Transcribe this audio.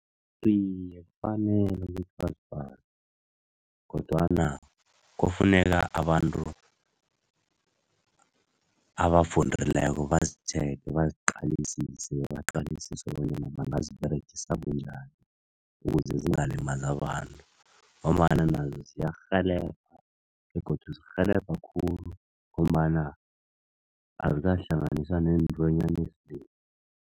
Iye, kufanele ukuthi bazifake kodwana kufuneka abantu abafundileko bazithenge, baziqalisise, bebaqalisise bonyana bangaziberegisa bunjani, ukuze zingalimalazi abantu ngombana nazo ziyarhelebha begodu zirhelebha khulu ngombana azikahlanganiswa nentwanyana ezinengi.